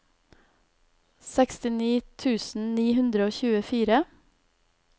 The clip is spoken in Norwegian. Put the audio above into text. sekstini tusen ni hundre og tjuefire